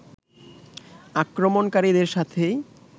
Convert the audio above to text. আক্রমণকারীদের সাথেই